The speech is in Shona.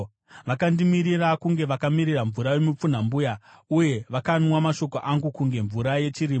Vakandimirira kunge vakamirira mvura yomupfunhambuya, uye vakanwa mashoko angu kunge mvura yechirimo.